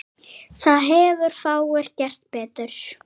Þar hefðu fáir gert betur.